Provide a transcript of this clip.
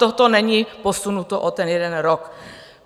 Toto není posunuto o ten jeden rok.